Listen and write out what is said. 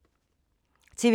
TV 2